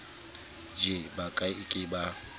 je ba ke ke ba